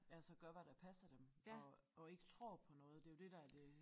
Altså gør hvad der passer dem og og ikke tror på noget det jo det der er det